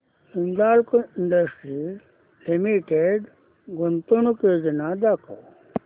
Hindalco industries limited गुंतवणूक योजना दाखव